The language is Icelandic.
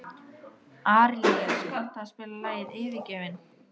Arilíus, kanntu að spila lagið „Yfirgefinn“?